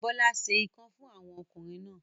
Bọ́lá se ikán fún àwọn ọkùnrin náà.